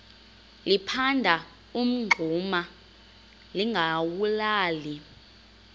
liphanda umngxuma lingawulali